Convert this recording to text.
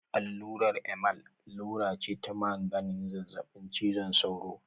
Allurar Emal allura ce ta magance zazzaɓin cizon sauro.